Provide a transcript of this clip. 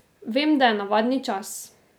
Vem, da je navadni čas.